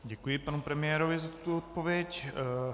Děkuji panu premiérovi za tuto odpověď.